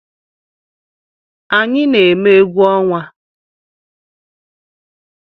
Anyi na-eme egwu ọnwa